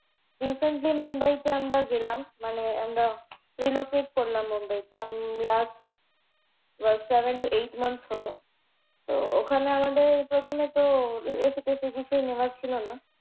recently মুম্বাইতে আমরা গেলাম। মানে আমরা relocate করলাম মুম্বাইতে। আমি last seven to eight months হলো। তো ওখানে আমাদের প্রথমেতো AC টেসি কিছুই নেওয়া ছিলো না।